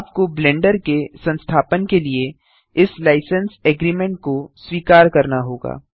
आपको ब्लेंडर के संस्थापन के लिए इस लाइसेंस एग्रीमेंट को स्वीकर करना होगा